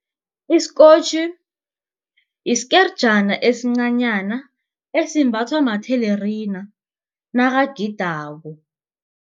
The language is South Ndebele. isikotjhi isikerjana esincanyana esimbathwa mathelerina nakagidako.